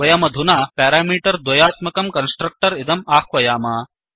वयमधुना प्यरामीटर् द्वयात्मकं कन्स्ट्रक्टर् इदम् आह्वयाम